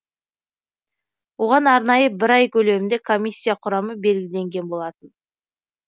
оған арнайы бір ай көлемінде комиссия құрамы белгіленген болатын